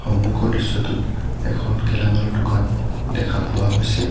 সন্মুখৰ দৃশ্যটোত এখন গেলামালৰ দোকান দেখা পোৱা হৈছে।